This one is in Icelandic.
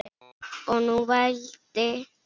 Og nú vældi